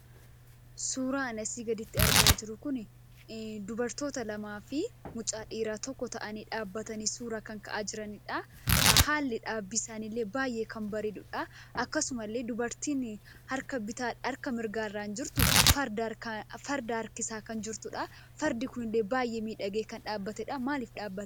Suuraan ani asii gaditti argaa jiru kuni, dubartoota lamaafi mucaa dhiiraa tokko ta'anii dhaabbatanii suura kan ka'aa jiranidha. Haalli dhaabbii isaanii illee baay'ee kan bareedudha. Akkasumallee dubartiin harka mirgaarraan jirtu, farda harkisaa kan jirtudha. Fardi kunille baay'ee miidhagee kan dhaabbatedha. Maaliif dhaabbate?